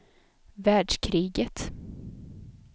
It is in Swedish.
världskriget